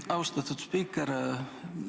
Aitäh, austatud spiiker!